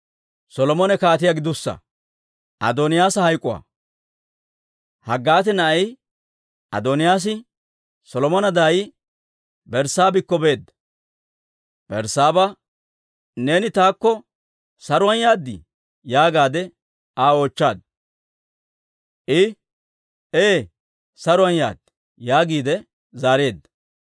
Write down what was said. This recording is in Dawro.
Haggiiti na'ay Adooniyaas, Solomona daay Berssaabikko beedda; Berssaaba, «Neeni taakko saruwaan yaad?» yaagaade Aa oochchaaddu. I, «Ee; saruwaan yaad» yaagiide zaareedda.